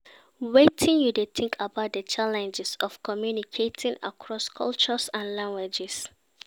Wetin you think about di challenges of communicating across cultures and languages?